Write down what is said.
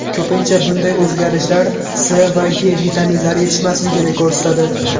Ko‘pincha, bunday o‘zgarishlar C va E vitaminlari yetishmasligini ko‘rsatadi.